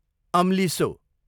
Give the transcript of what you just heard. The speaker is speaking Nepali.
अम्लिसो